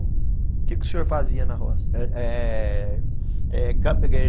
O quê que o senhor fazia na roça?